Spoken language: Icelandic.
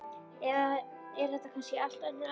Eða er þetta kannski allt önnur önd?